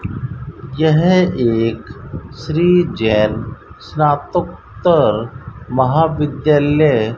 यह एक श्री जैन स्नातकोत्तर महाविद्यालय --